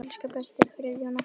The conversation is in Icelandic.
Elsku besti Friðjón okkar.